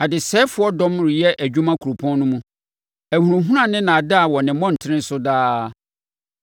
Adesɛefoɔ dɔm reyɛ adwuma kuropɔn no mu. Ahunahuna ne nnaadaa wɔ ne mmɔntene so daa.